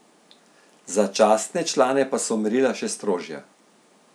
Za častne člane pa so merila še strožja.